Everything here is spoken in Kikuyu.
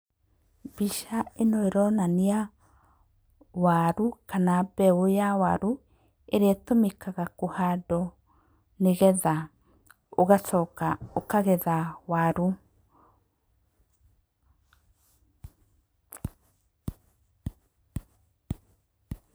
Mbica ĩno ĩronania waru kana mbeũ ya waru ĩrĩa ĩtũmĩkaga kũhandwo na nĩgetha ũgacoka ũkagetha waru.